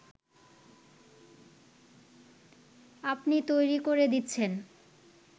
আপনি তৈরি করে দিচ্ছেন